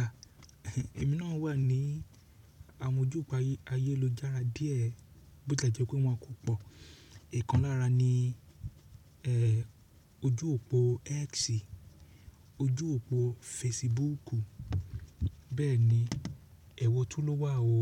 À, èmi náà wà ní àwọn ojú òpó ayélujára díẹ̀, bó tilẹ jẹ́ pé wọn kò pọ̀. Ikan lára ní, ẹ́ẹ́, ojú òpó X, ojú òpó Facebook, bẹ́ẹ̀ni, ewo tun ló wà o.